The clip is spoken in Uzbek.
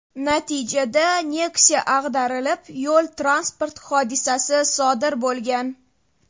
Natijada Nexia ag‘darilib, yo‘l transport hodisasi sodir bo‘lgan.